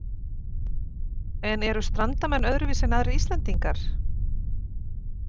En eru Strandamenn öðruvísi en aðrir Íslendingar?